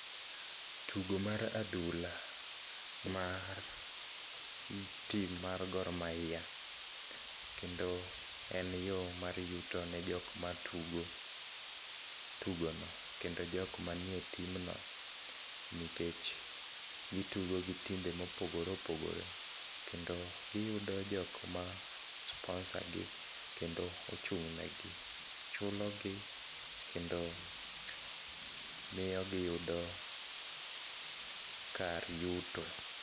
Tugo mar adhula, mar tim mar Gor Mahia, kendo en yo mar yutone jok matugo tugono kendo jok manie timno nikech gitugo gi timbe mopogore opogore kendo giyudo jokma sponsor gi kendo ochung' negi. Chulogi kendo miyo giyudo kar yuto.